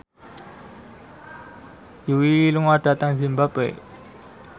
Yui lunga dhateng zimbabwe